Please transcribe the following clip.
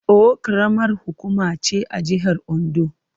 Owo karamar hukuma ce a jihar Ondo.